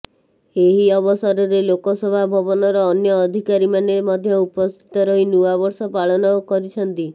ଏହି ଅବସରରେ ଲୋକସେବା ଭବନର ଅନ୍ୟ ଅଧିକାରୀମାନେ ମଧ୍ୟ ଉପସ୍ଥିତ ରହି ନୂଆବର୍ଷ ପାଳନ କରିଛନ୍ତି